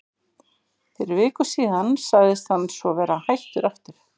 Fyrir viku síðan sagðist hann svo vera hættur aftur.